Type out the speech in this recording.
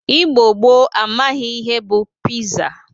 Igbo gboo amaghi ihe bụ piza.